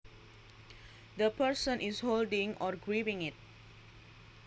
The person is holding or gripping it